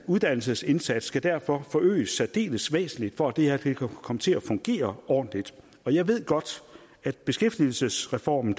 uddannelsesindsats skal derfor forøges væsentligt for at det her kan komme til at fungere ordentligt og jeg ved godt at beskæftigelsesreformen